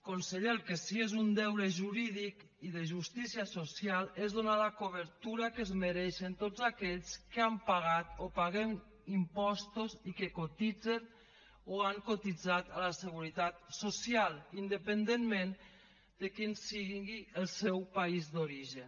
conseller el que sí que és un deure jurídic i de justícia social és donar la cobertura que es mereixen a tots aquells que han pagat o paguem impostos i que cotitzen o han cotitzat a la seguretat social independentment de quin sigui el seu país d’origen